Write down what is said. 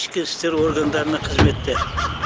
ішкі істер органдарында қызметте